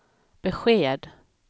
besked